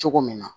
Cogo min na